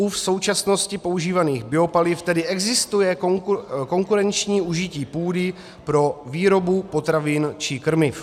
U v současnosti používaných biopaliv tedy existuje konkurenční užití půdy pro výrobu potravin či krmiv.